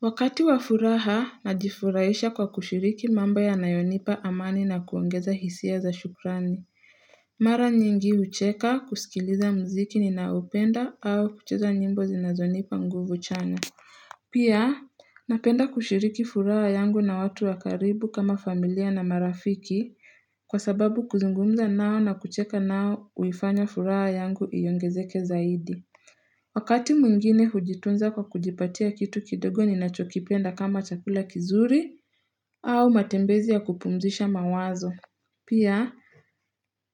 Wakati wa furaha najifurahisha kwa kushiriki mambo yanayo nipa amani na kuongeza hisia za shukrani. Mara nyingi hucheka kusikiliza mziki ninao penda au kucheza nyimbo zinazonipa nguvu chanya. Pia napenda kushiriki furaha yangu na watu wakaribu kama familia na marafiki kwa sababu kuzungumza nao na kucheka nao huifanya furaha yangu iongezeke zaidi. Wakati mwingine hujitunza kwa kujipatia kitu kidogo ninacho kipenda kama chakula kizuri au matembezi ya kupumzisha mawazo. Pia,